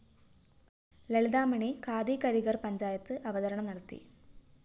ലളിതാമണി ഖാദി കരിഗര്‍ പഞ്ചായത്ത് അവതരണം നടത്തി